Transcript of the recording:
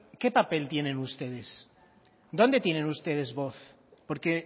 qué papel tiene ustedes dónde tienen ustedes voz por qué